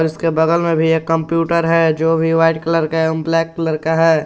उसके बगल में भी एक कंप्यूटर है जो वाइट कलर का एवं ब्लैक कलर का है।